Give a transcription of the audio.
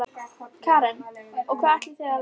Karen: Og hvað ætlið þið að læra?